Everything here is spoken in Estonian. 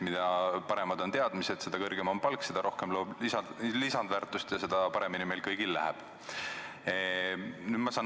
Mida paremad on teadmised, seda kõrgem on palk, seda rohkem loob lisandväärtust ja seda paremini meil kõigil läheb.